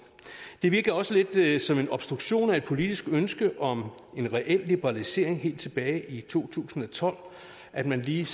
det virker også lidt som en obstruktion af et politisk ønske om en reel liberalisering helt tilbage i to tusind og tolv at man lige